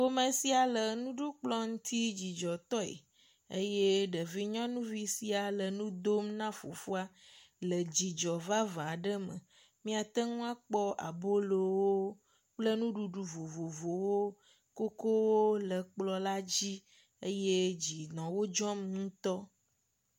Ƒome sia le nuɖukplɔ ŋuti dzidzɔtɔɛ eye ɖevi nyɔnuvi sia le ŋudom na fofoa le dzidzɔ vavã aɖe me. Míate ŋu akpɔ abolowo kple nuɖuɖu vovovowo, kokowo le kplɔ̃ la dzi eye dzi nɔ wodzɔm ŋutɔ.